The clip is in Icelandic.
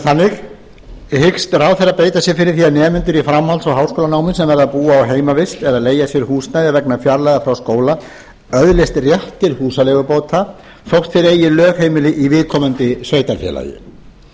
þannig hyggst ráðherra beita sér fyrir því að nemendur í framhalds og háskólanámi sem verða að búa í heimavist eða leigja sér húsnæði vegna fjarlægðar frá skóla öðlist rétt til húsaleigubóta þótt þeir eigi lögheimili í viðkomandi sveitarfélagi eins og lögin